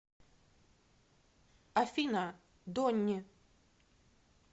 афина донни